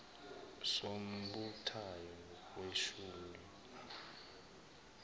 sombuthano weshumi nane